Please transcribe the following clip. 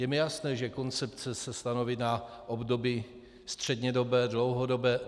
Je mi jasné, že koncepce se stanoví na období střednědobé, dlouhodobé.